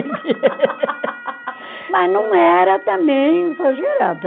Mas não era também exagerado.